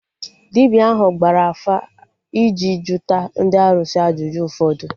Dibịa ahụ gbara afa iji juta ndị arụsị ajụjụ ụfọdụ